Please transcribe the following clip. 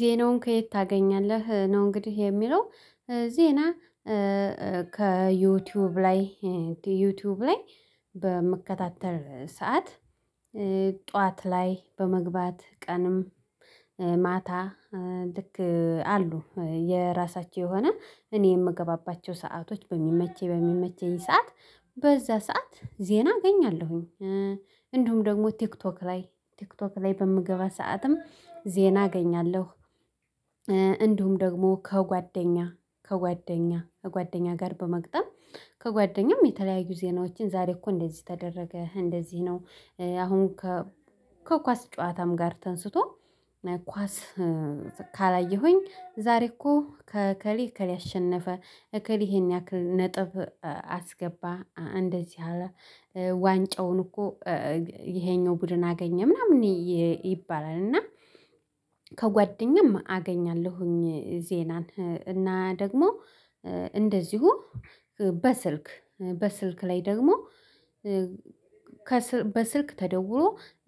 ዜናውን ከየት ታገኛለህ ነው እንግዲህ የሚለው ዜና ከዩቲዩብ ላይ ዩቲዩብ ላይ በመከታተል ሰዓት ጠዋት ላይ በመግባት ቀንም ማታ ልክ አሉ የራሳቸው የሆነ እኔ የምገባባቸው ሰአቶች በሚመቸኝ በሚመቸኝ ሰዓት በዛ ሰዓት ዜና እገኛለሁኝ። እንዲሁም ደግሞ ቲክቶክ ላይ ቲክቶክ ላይ በምገባ ሰዓትም ዜና አገኛለሁ። እንዲሁም ደግሞ ከጓደኛ ከጓደኛ ከጓደኛ ጋር በመግጠም ከጓደኛም የተለያዩ ዜናዎችን ዛሬ እኮ እንደዚህ ተደረገ እንደዚህ ነው። አሁን ከ ከኳስ ጨዋታም ጋር ተንስቶ ኳስ ካላየሁኝ ዛሬ እኮ ከእከሌ እከሌ አሸነፈ እከሌ ይሄን ያክል ነጥብ አስገባ እንደዚህ አለ። ዋንጫውን እኮ ይሄኛው ቡድን አገኘ ምናምን ይባላል። እና ከጓደኛም አገኛለሁኝ ዜናን እና ደግሞ እንደዚሁ በስልክ በስልክ ላይ ደግሞ በስልክ ተደውሎ